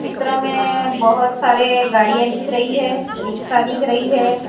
चित्र मे बहोत सारी गाड़ियां दिख रही है रिक्शा दिख रही है।